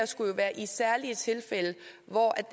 skulle jo være i særlige tilfælde hvor